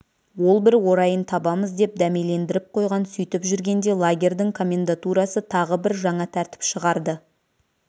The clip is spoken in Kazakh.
ол бір орайын табамыз деп дәмелендіріп қойған сөйтіп жүргенде лагерьдің комендатурасы тағы бір жаңа тәртіп шығарды